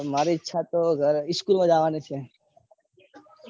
મારે ઈચ્છા તો school માં જવાની છ